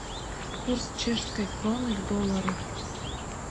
курс чешской кроны к доллару